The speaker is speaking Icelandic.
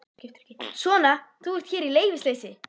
Svona, þú ert hér í leyfisleysi.